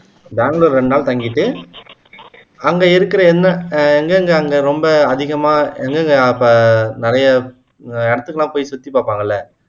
பெங்களூர் ரெண்டு நாள் தங்கிட்டு அங்க இருக்கிற என்ன எங்கெங்க அங்க ரொம்ப அதிகமா எங்கெங்க ப நிறைய எடுத்துக்குலாம் போய் சுத்தி பாப்பாங்க இல்ல